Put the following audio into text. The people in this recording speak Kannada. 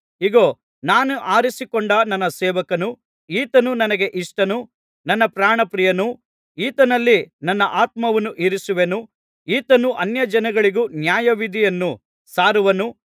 ಇಗೋ ನಾನು ಆರಿಸಿಕೊಂಡ ನನ್ನ ಸೇವಕನು ಈತನು ನನಗೆ ಇಷ್ಟನು ನನ್ನ ಪ್ರಾಣಪ್ರಿಯನು ಈತನಲ್ಲಿ ನನ್ನ ಆತ್ಮವನ್ನು ಇರಿಸುವೆನು ಈತನು ಅನ್ಯಜನಗಳಿಗೂ ನ್ಯಾಯವಿಧಿಯನ್ನು ಸಾರುವನು